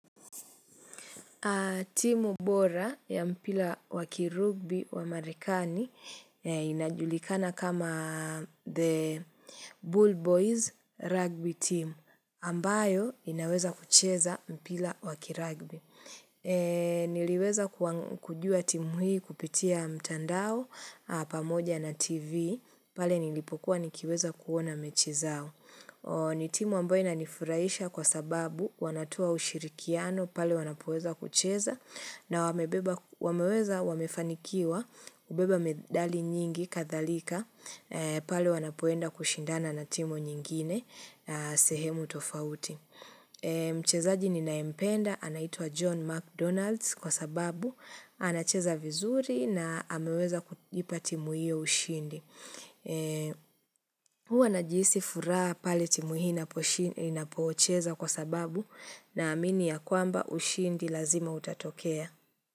Timu bora ya mpira wa kirugbi wa Marekani inajulikana kama the Bull Boys rugby team ambayo inaweza kucheza mpira wa kirugbi. Niliweza kujua timu hii kupitia mtandao pamoja na TV pale nilipokuwa nikiweza kuona mechi zao. Ni timu ambayo inanifurahisha kwa sababu wanatoa ushirikiano pale wanapoeza kucheza na wameweza wamefanikiwa kubeba medali nyingi kadhalika pale wanapoenda kushindana na timu nyingine sehemu tofauti. Mchezaji ninayempenda anaitwa John McDonalds kwa sababu anacheza vizuri na ameweza kuipa timu hio ushindi. Huwa najisi furaha pale timu hii inapocheza kwa sababu naamini ya kwamba ushindi lazima utatokea.